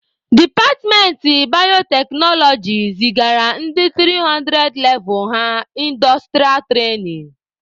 Departmentị bayoteknoloji zigara ndị 300 levụ ha ịndọstụrịa trainin.